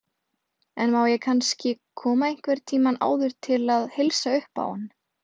En má ég kannski koma einhvern tíma áður til að heilsa uppá hann.